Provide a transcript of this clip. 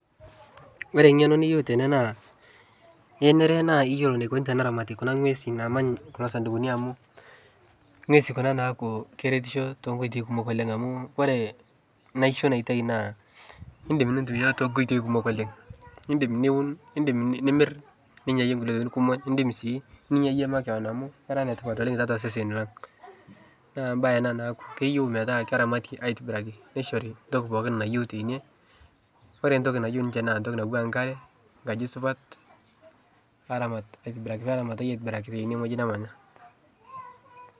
Ore eng'eno niyieu tene naa kenare naa iyiolo neikoni teeneramati kuna ng'uesi, naamany kuna sadukuni amu ngiesin kuna naaku keretisho too nkoitoi kumok oleng amu kore naisho naitayu naa eitumiae too nkoitoi kumok oleng, idim nimirr ninyaiyie tokitin kumok, idim sii ninya iyie makewon amu kera netipat oleng tiatua seseni lang , naa mbae ena naa keyieu naa keramati aitobiraki aisho ntoki pookin nayieu tene, ore ntokinayieu ninche naa toki naijo nkare nkaji supat, aramataki aitobiraki ene wueji nemanya.